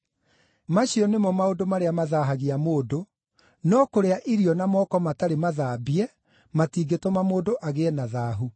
Macio nĩmo maũndũ marĩa ‘mathaahagia’ mũndũ; no kũrĩa irio na moko matarĩ mathambie matingĩtũma mũndũ agĩe na ‘thaahu’.”